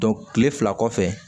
kile fila kɔfɛ